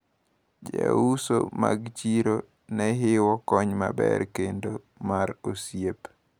Jouso mag chiro nehiwo kony maber kendo mar osiep.